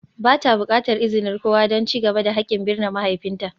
Ba ta buƙatar izinin kowa don ci gaba da haƙƙin binne mahaifinta.